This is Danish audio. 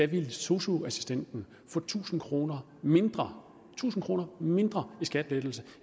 ville sosu assistenten få tusind kroner mindre tusind kroner mindre i skattelettelse